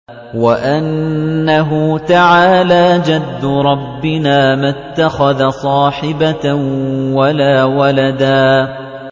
وَأَنَّهُ تَعَالَىٰ جَدُّ رَبِّنَا مَا اتَّخَذَ صَاحِبَةً وَلَا وَلَدًا